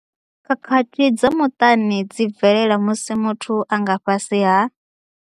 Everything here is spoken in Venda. Khakhathi dza muṱani dzi bvelela musi muthu a nga fhasi ha.